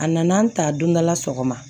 A nana an ta don dɔ la sɔgɔma